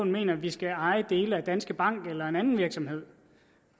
mener at vi skal eje dele af danske bank eller en anden virksomhed